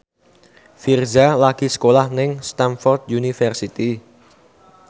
Virzha lagi sekolah nang Stamford University